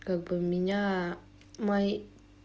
как бы у меня мои